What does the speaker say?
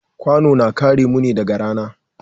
Kwano na kare mu ne daga rana.